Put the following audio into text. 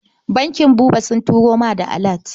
Bankin Buba sun turo ma da alat.